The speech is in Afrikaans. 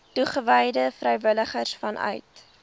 toegewyde vrywilligers vanuit